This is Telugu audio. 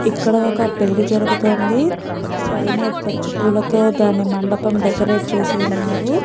ఇక్కడ ఒక పెళ్లి జరుగుతుంది పైన పచ్చి పూలతో దాని మండపం డెకరేట్ చేసి ఉన్నారు.